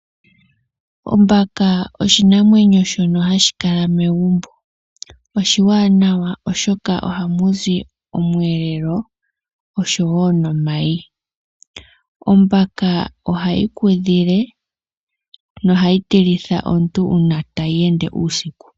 Ombaka oshinamwenyo shono hashi kala megumbo oshiwanawa oshoka ohamu zi omweelelo oshoeo omayi ombaka ohayi kudhile nohayi tilithwa omuntu uuna tayi ende uusiku.